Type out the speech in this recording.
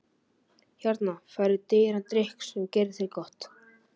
Hérna færðu dýran drykk sem gerir þér gott.